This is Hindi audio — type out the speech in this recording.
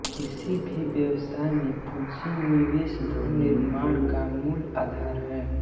किसी भी व्यवसाय में पूंजी निवेश धन निर्माण का मूल आधार है